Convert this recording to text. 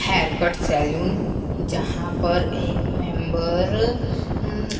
haircut salon जहां पर एक मेंबर उम्--